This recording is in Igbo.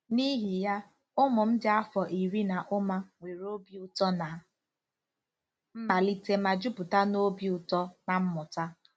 N'ihi ya, ụmụ m dị afọ iri na ụma nwere obi ụtọ ná mmalite ma jupụta na obi ụtọ na mmụta.